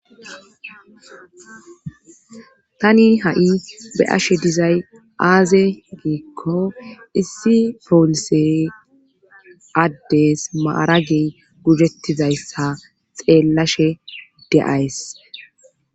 tani ha7i be ashe dizay aaze giikko issi polise addes maaragi gujettizayssa xeellashe de,ays